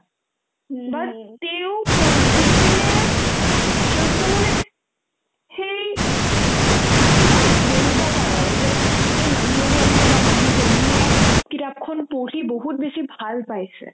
এবাৰ তেওঁ পঢ়ি পিনে যুন্তু মানে সেই থাকে ন ধৰিব পাৰ যে এই মানুহজনে বা মানুহজনীয়ে কিতাপখন পঢ়ি বহুত বেছি ভাল পাইছে